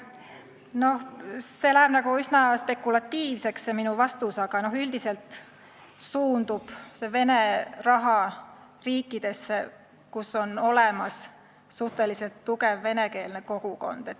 Minu vastus läheb üsna spekulatiivseks, aga üldiselt suundub Vene raha riikidesse, kus on olemas suhteliselt tugev venekeelne kogukond.